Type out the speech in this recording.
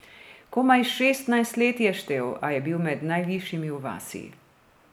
Komaj šestnajst let je štel, a je bil med najvišjimi v vasi.